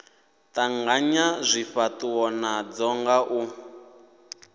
tanganya zwifhatuwo nadzo nga u